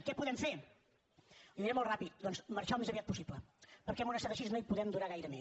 què podem fer li ho diré molt ràpid doncs marxar al més aviat possible perquè en un estat així no hi podem durar gaire més